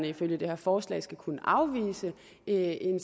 ifølge det her forslag skal kunne afvise en